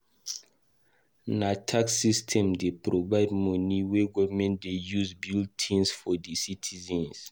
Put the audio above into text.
Na tax system dey provide moni wey government dey use build tins for di citizens.